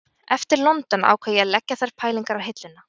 Eftir London ákvað ég að leggja þær pælingar á hilluna